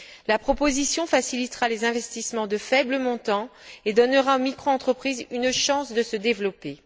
La proposition facilitera les investissements de faibles montants et donnera aux microentreprises une chance de se développer.